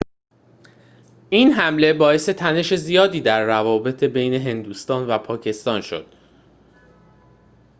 این حمله باعث تنش زیادی در روابط بین هندوستان و پاکستان شد